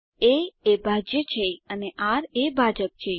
એ એ ભાજ્ય છે અને આર એ ભાજક છે